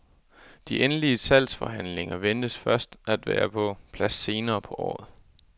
De endelige salgsforhandlinger ventes først at være på plads senere på året.